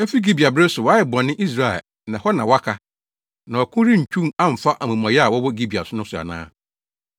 “Efi Gibea bere so, woayɛ bɔne, Israel, na hɔ na woaka. Na ɔko rentwiw amfa amumɔyɛfo a wɔwɔ Gibea no so ana?